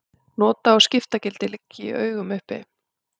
Nota- og skiptagildi liggja í augum uppi.